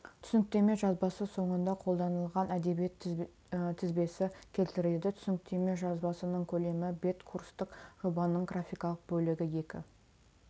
түсініктеме жазбасы соңында қолданылған әдебиет тізбесі келтіріледі түсініктеме жазбасының көлемі бет курстық жобаның графикалық бөлігі екі